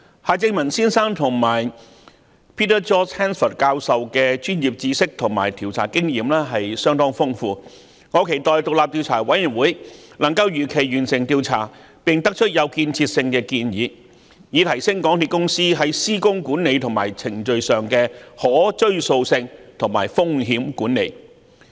夏正民先生及 Peter George HANSFORD 教授的專業知識和調查經驗相當豐富，我期待獨立調查委員會能夠如期完成調查，並得出有建設性的建議，提升港鐵公司在施工管理和程序上的可追溯性和風險管理。